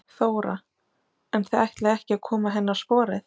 Þóra: En þið ætlið ekki að koma henni á sporið?